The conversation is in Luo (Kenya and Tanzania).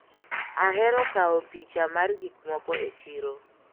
Ahero kawo picha mar gikmoko e chiro.